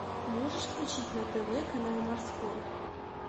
можешь включить на тв канал морской